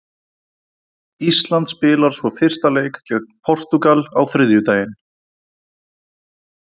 Ísland spilar svo fyrsta leik gegn Portúgal á þriðjudaginn.